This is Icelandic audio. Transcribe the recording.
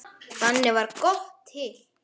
Þannig varð GOTT til.